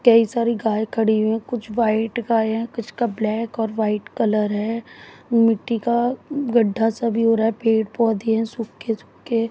कई सारी गाय खड़ी है। कुछ व्हाइट गाय हैं कुछ का ब्लैक और वाइट कलर है मिट्टी का गद्दा सा भी हो रहा है पेड़ पौधे हैं सुख के सुख के।